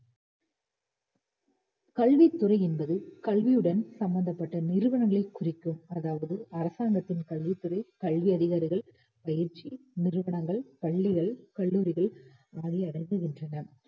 கல்வித் துறை என்பது கல்வியுடன் சம்பந்தப்பட்ட நிறுவனங்களைக் குறிக்கும் அதாவது அரசாங்கத்தின் கல்வித் துறை கல்வி அதிகாரிகள், பயிற்சி நிறுவனங்கள், பள்ளிகள், கல்லூரிகள் ஆகியன அடங்குகின்றன.